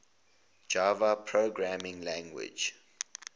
java programming language